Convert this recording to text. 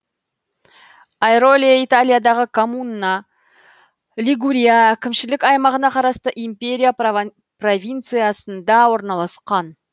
айроле италиядағы коммуна лигурия әкімшілік аймағына қарасты империя провинциясында орналасқан